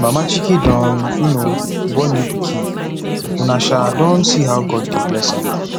mama chike don um born new pikin una um don see how god dey bless am